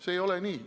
See ei ole nii.